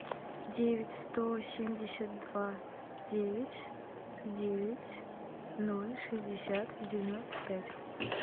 девять сто семьдесят два девять девять ноль шестьдесят девяносто пять